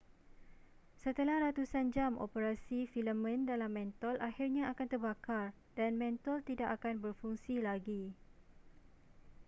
setelah ratusan jam operasi filamen dalam mentol akhirnya akan terbakar dan mentol tidak akan berfungsi lagi